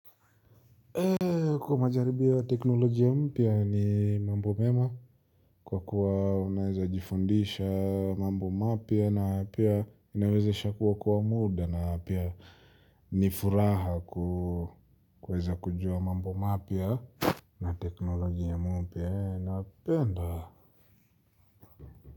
Kwa majaribio ya teknolojia mpya ni mambo mema, kwa kuwa unaweza jifundisha mambo mapya na pia inawezesha kuokoa muda na pia ni furaha kuweza kujua mambo mapya. Na teknolojia mupya, napenda.